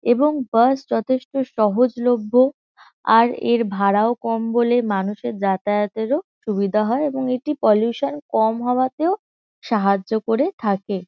এবং বাস যথেষ্ট সহজলভ্য আর এর ভাড়াও কম বলে মানুষের যাতায়াতেরও সুবিধে হয় এবং এটি পলিউশান কম হওয়াতেও সাহায্য করে থাকে।